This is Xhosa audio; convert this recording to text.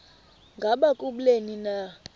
ngaba kubleni na